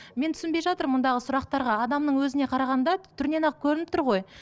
мен түсінбей жатыр мұндағы сұрақтарға адамның өзіне қарағанда түрінен ақ көрініп тұр ғой